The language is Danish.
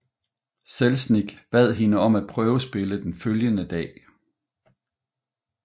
Selznick bad hende om at prøvespille den følgende dag